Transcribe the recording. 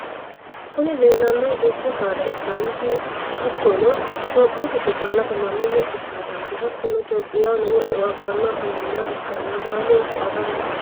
kuni leellanohu dubbu saada ikkanna hattonni itopiyu giddo calla afamanno muxxe saadati. hattonni itopiyaho lowo e"o abbanni afamannoha ikkanna baalunku agara hasiissanno.